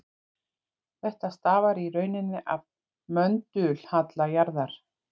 Þetta stafar í rauninni af möndulhalla jarðar.